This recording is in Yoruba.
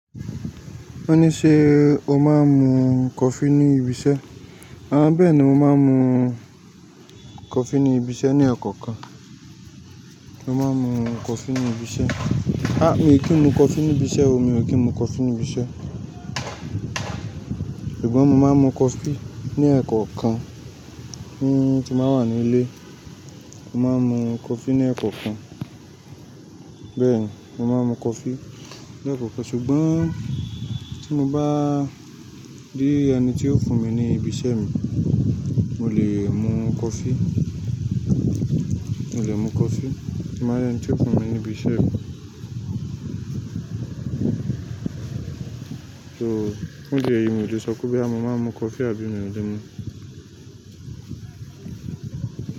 Wọ́n ní ṣe o máa ń mu coffee ní ibi iṣẹ́? Rárá, bẹ́ẹ̀ ni, mo máa ń mu coffee ní ibi iṣẹ́ ní ekaakan. Mo máa ń mu coffee ní ibi iṣẹ́. Há! Mi ò kí ń mu coffee ní ibi iṣẹ́ o, mi ò kí ń mu coffee ní ibi iṣẹ́. Ṣùgbọ́n mo máa ń mu coffee ní ẹ̀kọ̀ kan tí n ba wà ní ilé. Mo máa ń mu coffee ní ẹ̀kọ̀ kan. Bẹ́ẹ̀ ni, mo máa ń mu coffee ní ẹ̀kọ̀ kan. Ṣùgbọ́n tí mo bá rí ẹni tí yóò fún mi ní ibi iṣẹ́ mi, mo lè mu coffee, mo lè mu coffee tí mo bá rí ẹni tí yóò fún mi ní ibi iṣẹ́ mi. So, fun di èyí mi ò lè sọ pé bí mo máa mu coffee àbí mi ò lè mu.